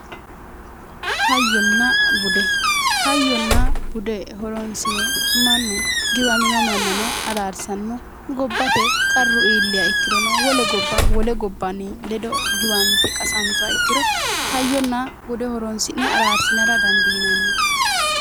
Hayyonna bude. Hayyonna bude horonisire mannu giwamino mannano araarisanno gobbate qarru iiliha ikkirono wole gobba wole gobbani ledo giwanite qasanituha ikkiro hayyona bude horonsi'ne araarisinara danidiinanni